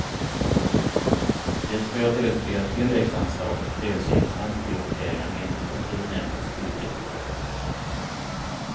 Det sker dels via tilläggsanslag och dels genom omprioriteringar inom kulturnämndens budget.